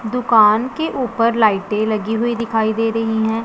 दुकान के ऊपर लाइटें लगी हुई दिखाई दे रही हैं।